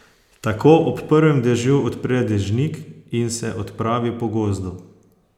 Tako ob prvem dežju odpre dežnik in se odpravi po gozdu.